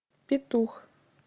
петух